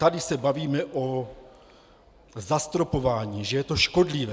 Tady se bavíme o zastropování, že je to škodlivé.